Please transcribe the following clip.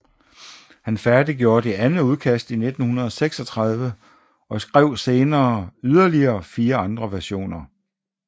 Han færdiggjorde det andet udkast i 1936 og skrev senere yderligere fire andre versioner